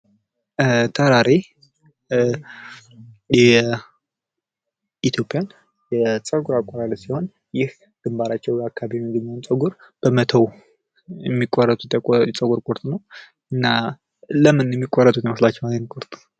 ተራሬ የኢትዮጵያ የፀጉር አቆራረጥ ሲሆን ይህ ግንባራቸው አካባቢ ላይ የሚገኘውን ፀጉር በመተው የሚቆረጡት የፀጉር ቁርጥ ነው። እና ለምን ሚቆረጡ ይመስላችኋል ይሄንን ቁርጥ?